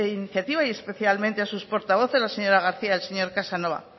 iniciativa y especialmente a sus portavoces la señora garcía y el señor casanova